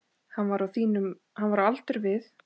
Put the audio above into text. Hann var á aldur við